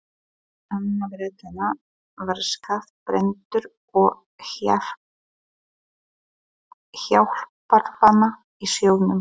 Annar Bretanna var skaðbrenndur og hjálparvana í sjónum.